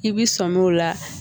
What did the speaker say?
I bi sɔmi o la